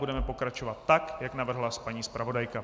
Budeme pokračovat tak, jak navrhla paní zpravodajka.